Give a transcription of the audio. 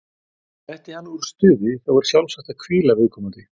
Detti hann úr stuði, þá er sjálfsagt að hvíla viðkomandi.